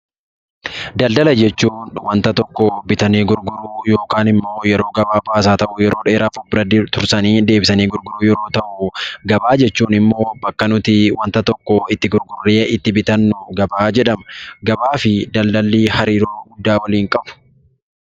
Daldala jechuun wanta tokko bitanii gurguruu yookaan immoo yeroo gabaabaas haa ta'u, yeroo dheeraaf of bira tursanii deebisanii gurguruu yeroo ta'u, gabaa jechuun immoo bakka nuti waanta tokko itti gurgurree itti bitannu gabaa jedhama. Gabaa fi daldalli hariiroo guddaa waliin qabu.